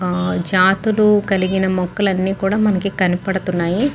జాతులు కలిగిన మొక్కలు అన్నీ కూడా మనకి కనబడుతున్నాయి.